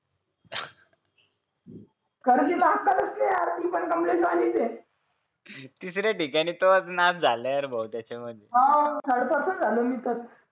खर तीला अक्कलच नाही यार ती तिसऱ्या ठिकाणी तोच नाद झाला बहुतेक हो ठडकासच झालो मी तर